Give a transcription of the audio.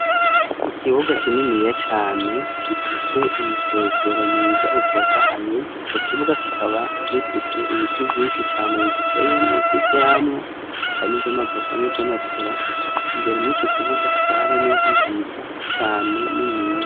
ikibuga kininiya cane gifise umusezero mwiza utotahaye, ico kibuga kikaba gifise ibiti vyinshi cane bigiteyemwo vy'ivyamwa harimwo iry'amavoka nivy'amapera imbere mu ico kibuga hakaba hariho n'inzu nziza cane niniya.